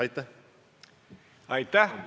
Aitäh!